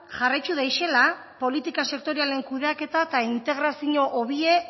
jarraitu deixela politika sektorialen kudeaketa eta integraziño hobie